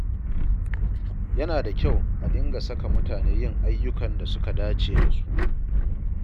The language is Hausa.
Yana da kyau a dinga saka mutane yin ayyukan da suka dace da su.